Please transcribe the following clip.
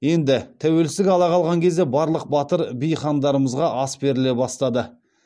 енді тәуелсіздік ала қалған кезде барлық батыр би хандарымызға ас беріле бастады